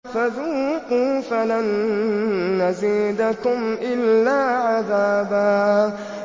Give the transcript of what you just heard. فَذُوقُوا فَلَن نَّزِيدَكُمْ إِلَّا عَذَابًا